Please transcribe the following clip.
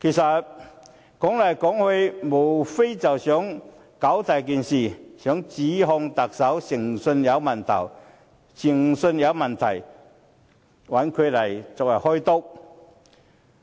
說到底，他們無非想把事情"搞大"，想指控特首誠信有問題，找他來"開刀"。